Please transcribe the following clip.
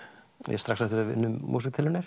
þar strax eftir að við unnum músíktilraunir